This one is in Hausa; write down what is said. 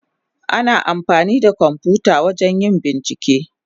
Ana amfani da kwamfuta wajen yin bincike.